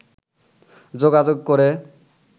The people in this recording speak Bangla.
যোগাযোগ করে